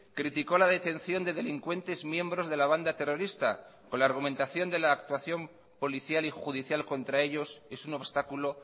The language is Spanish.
criticó la detención de delincuentes miembros de la banda terrorista con la argumentación de la actuación policial y judicial contra ellos es un obstáculo